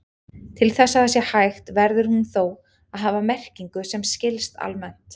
Til þess að það sé hægt verður hún þó að hafa merkingu sem skilst almennt.